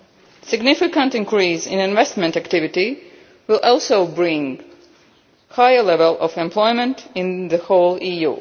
A significant increase in investment activity will bring a higher level of employment to the EU as